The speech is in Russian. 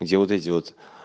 где вот эти вот